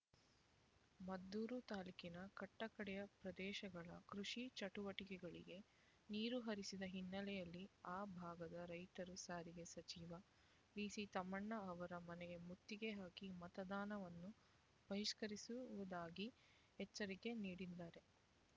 ಮದ್ದೂರು ತಾಲ್ಲೂಕಿನ ಕಟ್ಟ ಕಡೆಯ ಪ್ರದೇಶಗಳ ಕೃಷಿ ಚಟುವಟಿಕೆಗಳಿಗೆ ನೀರು ಹರಿಸದ ಹಿನ್ನೆಲೆಯಲ್ಲಿ ಆ ಭಾಗದ ರೈತರು ಸಾರಿಗೆ ಸಚಿವ ಡಿಸಿ ತಮ್ಮಣ್ಣ ಅವರ ಮನೆಗೆ ಮುತ್ತಿಗೆ ಹಾಕಿ ಮತದಾನವನ್ನು ಬಹಿಷ್ಕರಿಸುವುದಾಗಿ ಎಚ್ಚರಿಕೆ ನೀಡಿದ್ದಾರೆ